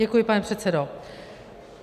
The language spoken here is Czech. Děkuji, pane předsedo.